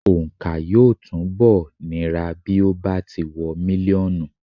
Òǹkà yóò túnbọ̀ nira bí ó bá ti wọ mílíọ̀nù.